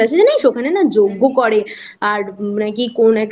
আর জানিস ওখানে না যজ্ঞ করে আর নাকি কোন একটা